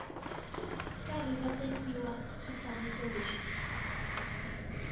karhi va tekiwa swifaniso leswi